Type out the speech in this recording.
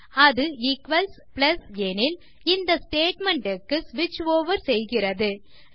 அது equals plus எனில் இந்த ஸ்டேட்மெண்ட் க்கு ஸ்விட்ச் ஓவர் செய்கிறது